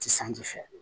Ti sanji fɛ